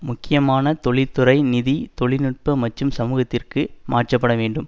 முக்கியமான தொழில்துறை நிதி தொழில் நுட்ப மற்றும் சமூகத்திற்கு மாற்றப்பட வேண்டும்